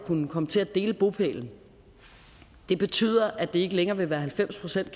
kunne komme til at dele bopælen betyder at det ikke længere vil være halvfems procent af